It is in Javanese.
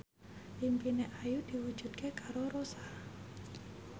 impine Ayu diwujudke karo Rossa